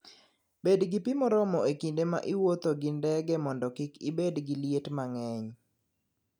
Bed gi pi moromo e kinde ma iwuotho gi ndege mondo kik ibed gi liet mang'eny.